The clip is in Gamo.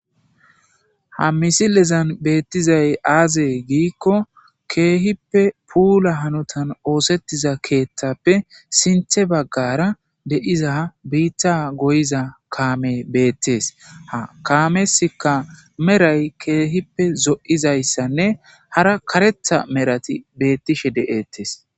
ha misilezan beettizay aazee giikko keehippe puula hanotan oosettiza keeththappe sinthe baggara de7iza biitta goyiza kaame beettes ha kaameska meray keehippe zo7izayssanne hara karetha merati beettishe de7ettees